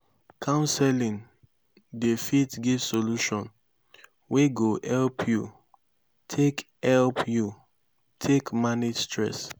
counseling dey fit give solution wey go help yu take help yu take manage stress